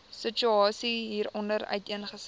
situasie hieronder uiteengesit